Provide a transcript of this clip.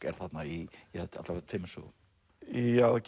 er þarna í alla vega tveimur sögum já það